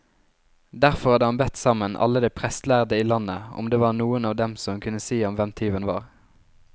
Derfor hadde han bedt sammen alle de prestlærde i landet, om det var noen av dem som kunne si ham hvem tyven var.